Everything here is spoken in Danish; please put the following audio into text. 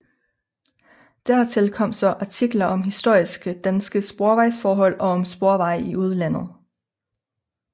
Dertil kom så artikler om historiske danske sporvejsforhold og om sporveje i udlandet